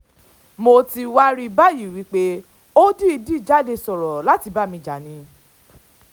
mo ti wáá rí i báyìí pé ó dìídì jáde sọ̀rọ̀ láti bá mi jà ni